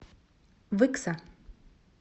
выкса